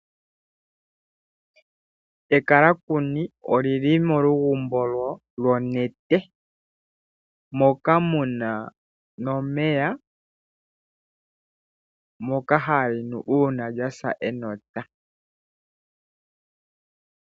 Ekalakuni oli li molugumbo lonete moka muna nomeya, moka hali nu uuna lyasa enota.